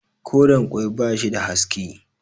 koren ƙwai ba shi da haske